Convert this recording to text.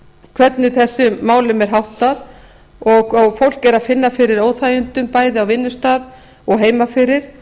hvernig þessum málum er háttað og fólk finnur fyrir óþægindum bæði á vinnustað og heima fyrir